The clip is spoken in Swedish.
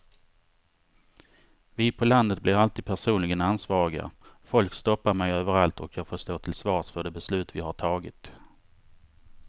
Vi på landet blir alltid personligen ansvariga, folk stoppar mig överallt och jag får stå till svars för de beslut vi har tagit.